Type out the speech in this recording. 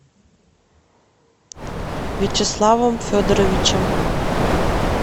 вячеславом федоровичем